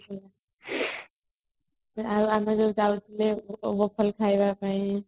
ଆଉ ଆମେ ଯୋଉ ଯାଉଥିଲେ ଖାଇବାପାଇଁ |